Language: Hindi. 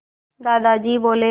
दादाजी बोले